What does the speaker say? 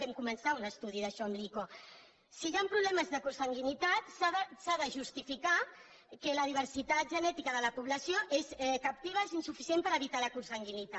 vam començar un estudi d’això amb l’ico si hi han problemes de consanguinitat s’ha de justificar que la diversitat genètica de la població captiva és insuficient per evitar la consanguinitat